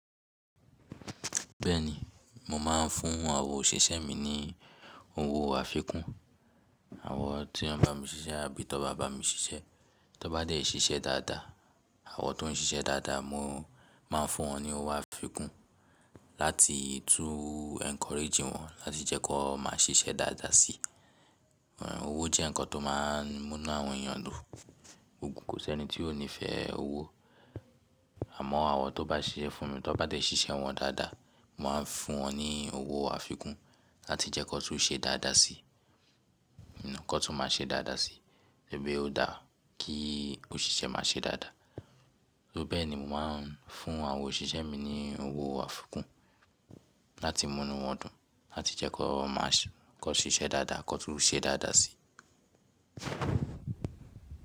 Bẹ́ẹ̀ni, mo máa ń fún àwọn òṣìṣẹ́ mi ní owó àfikún. Àwọn tí wọ́n bá mi ṣiṣẹ́ àbí tó bá bá mi ṣiṣẹ́, tó bá dé ṣíṣe dáadáa, àwọn tó ń ṣiṣẹ́ dáadáa mo máa ń fún wọn ní owó àfikún láti tún encourage wọn láti jẹ́ ki wọn máa ṣiṣẹ́ dáadáa sí i. Ọ̀wọ̀ jẹ́ nǹkan tó máa ń múnú àwọn èèyàn dùn. Kò sí ẹni tí ó nífẹ́ owó. Àmọ́ àwọn tó bá ṣiṣẹ́ fún mi tó bá dé ṣíṣe wọn dáadáa, mo máa ń fún wọn ní owó àfikún láti jẹ́ ki wọn tún ṣe dáadáa sí i. Kọ tún máa ṣe dáadáa sí i. Ó dá kí òṣìṣẹ́ máa ṣe dáadáa. Ni bẹ́ẹ̀ ni mo máa ń fún àwọn òṣìṣẹ́ mi ní owó àfikún láti múnú wọn dùn láti jẹ́ ki wọn máa ṣe kọ ṣiṣẹ́ dáadáa ko tún ṣe dáadáa sí i.